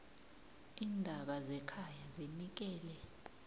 iindaba zekhaya zinikele